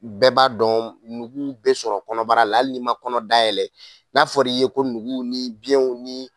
Bɛɛ b'a dɔn nugu bɛ sɔrɔ kɔnɔbara la hali n'i ma kɔnɔbara dayɛlɛn n'a fɔra i ye ko nuguw ni biɲɛw ni